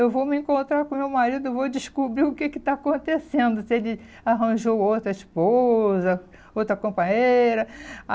Eu vou me encontrar com o meu marido, vou descobrir o que que está acontecendo, se ele arranjou outra esposa, outra companheira.